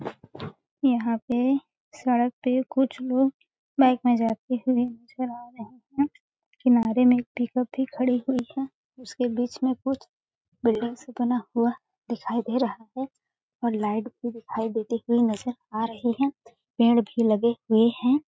यहाँ पे सड़क पे कुछ लोग बाइक मे जाते हुए नज़र आ रहे है। किनारे में एक पिक उप भी खड़ी हुई है उसके बीच में कुछ बिल्डिंग सा बना हुआ दिखाई दे रहा है और लाइट भी दिखाई देती हुई नज़र आ रहे है पेड़ भी लगे हुए है।